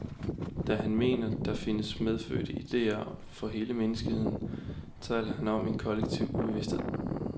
Da han mener, der findes medfødte idéer for hele menneskeheden, taler han om en kollektive ubevidsthed.